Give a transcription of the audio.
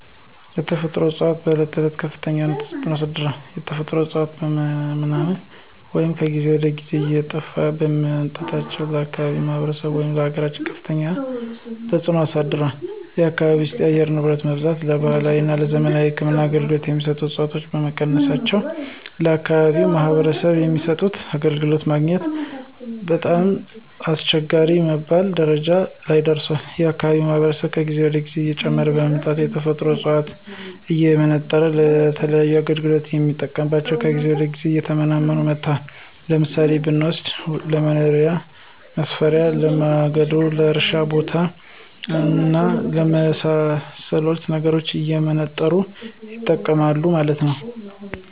የተፈጥሮ እፅዋቶች በዕለት ተዕለት ከፍተኛ የሆነ ተፅዕኖ አሳድሯል። የተፈጥሮ እፅዋቶች በመመናመናቸው ወይም ከጊዜ ወደ ጊዜ እየጠፉ በመምጣታቸው ለአካባቢው ማህበረሰብ ወይም ለአገራችን ከፍተኛ ተፅዕኖ አሳድሯል። የአካባቢው የአየር ንብረት መዛባትን ለባህላዊ ወይም ለዘመናዊ የህክምና አገልገሎት የሚሰጡ ዕፅዋቶች በመቀነሳቸው ለአከባቢው ማህበረሰብ የሚሰጡት አገልግሎት ለማግኘት በጣም አስቸጋሪ በመባል ደረጃ ላይ ደርሷል። የአካባቢው ማህበረሰብ ከጊዜ ወደ ጊዜ እየጨመረ በመምጣቱ የተፈጥሮ ዕፅዋቶችን እየመነጠረ ለተለያዩ አገልግሎት ስለሚጠቀምባቸው ከጊዜ ወደ ጊዜ እየተመናመኑ መጥተዋል። ለምሳሌ ብንወስድ ለቤት መሥሪያ፣ ለማገዶ፣ ለእርሻ ቦታ እና ለመሣሰሉት ነገሮች እየመነጠሩ ይጠቀማሉ ማለት ነው።